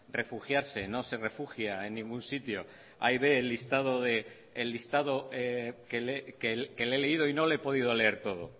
refugiarse no se refugie en ningún sitio hay ve el listado que le he leído y no le he podido leer todo